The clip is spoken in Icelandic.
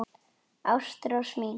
Ástrós mín.